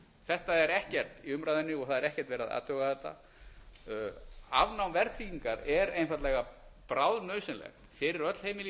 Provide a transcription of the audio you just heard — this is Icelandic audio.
þetta er ekkert í umræðunni og það er ekkert verið að athuga þetta afnám verðtryggingar er einfaldlega bráðnauðsynlegt fyrir öll heimili í